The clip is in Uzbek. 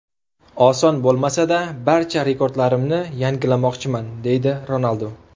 Oson bo‘lmasa-da barcha rekordlarimni yangilamoqchiman”, deydi Ronaldu.